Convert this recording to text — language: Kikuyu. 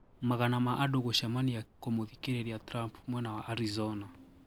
Magana ma andũ gũcemania kũmũthikĩrĩria Trump mwena wa Arizona.